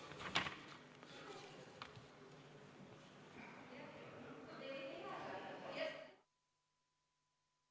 Istungi lõpp kell 16.55.